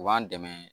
U b'an dɛmɛ